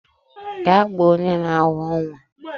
Gaa kpọọ onye na awọ nwa!